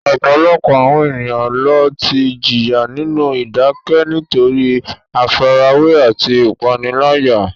Ọ̀pọ̀lọpọ̀ àwọn ènìyàn ló ti jìyà nínú ìdákẹ́ nítorí àfarawé àti ìpániláyà.